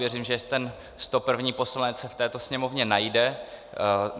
Věřím, že ten 101. poslanec se v této sněmovně najde.